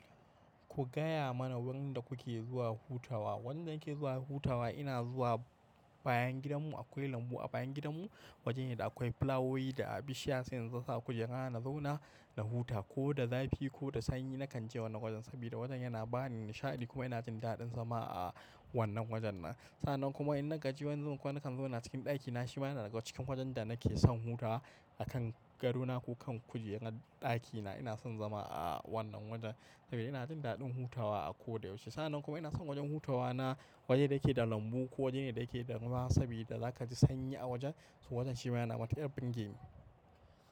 Ku gaya mana wurin da kuke zuwa hutawa. Wurin da nake zuwa hutawa ina zuwa. Bayan gidan mu akwai lambu a bayan gidan mu. Wajene da akwai flawoyi da bishiya sai in zo sa kujera na zauna na huta ko da zafi ko da sanyi nakan je wannan wajen sabida wajen yana bani nishaɗi kuma ina jin daɗin zama a wannan wajen nan. Sannan kuma in na gaji wani zubin kuma na kan zauna a cikin ɗaki na shi ma yana daga cikin wajen da nake son hutawa a kan gado na ko kan kujerar ɗaki na. Ina son zama a wannan wajen saboda ina jin daɗin hutawa a ko da yaushe. Sannan kuma ina son wajen hutawa na waje da yake da lambu ko wajene da yake da ruwa sabida za ka ji sanyi a wajen. To wajen shi ma yana matuƙar birgeni.